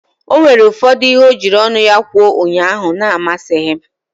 O nwere ụfọdụ ihe o jiri ọnụ ya kwuo ụnyaahụ na-amasịghị m.